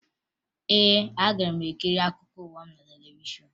Ee, aga m ekiri akụkọ ụwa ahụ na televishọn